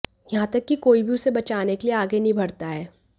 यहां तक की कोई भी उसे बचाने के लिए आगे नहीं बढ़ता है